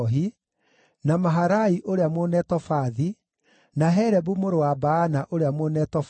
na Maharai ũrĩa Mũnetofathi, na Helebu mũrũ wa Baana ũrĩa Mũnetofathi,